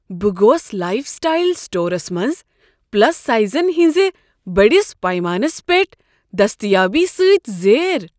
بہٕ گوس lifestyle stores منٛز پلس سایزن ہنٛزِ بٔڑس پیمانس پیٹھ دستیٲبی سۭتۍ زیر۔